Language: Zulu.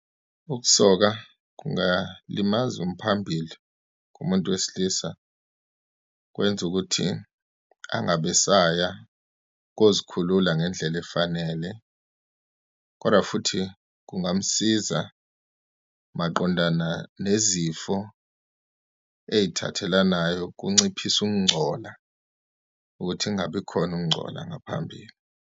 Ukusoka kungalimaza umphambili kumuntu wesilisa, kwenze ukuthi angabe esaya kozikhulula ngendlela efanele, kodwa futhi kungamsiza maqondana nezifo eyithathelanayo ukunciphise ukungcola, ukuthi kungabikhona ukungcola ngaphambili.